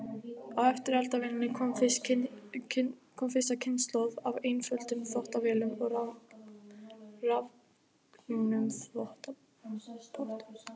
Á eftir eldavélinni kom fyrsta kynslóð af einföldum þvottavélum og rafknúnum þvottapottum.